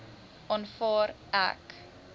aanvaar ek